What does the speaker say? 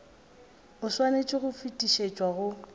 o swanetše go fetišetšwa go